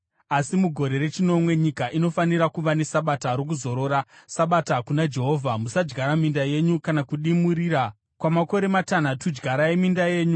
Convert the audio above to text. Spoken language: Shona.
Asi mugore rechinomwe, nyika inofanira kuva nesabata rokuzorora, sabata kuna Jehovha. Musadyara minda yenyu kana kudimurira mizambiringa yenyu.